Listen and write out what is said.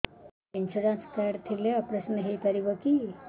insurance card ଥିଲେ operation ହେଇପାରିବ କି